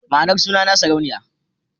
Ma'anar sunana Sarauniya.